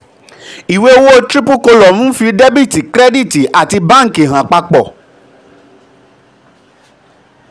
iwe owo triple column nfi debiti kirediti ati banki han papo.